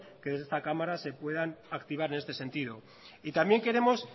que desde esta cámara se puedan activar en este sentido y también queremos